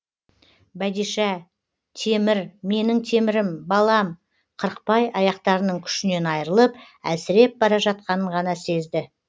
бәдишә темір менің темірім балам қырықбай аяқтарының күшінен айырылып әлсіреп бара жатқанын ғана сезді